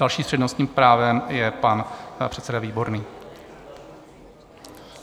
Další s přednostním právem je pan předseda Výborný.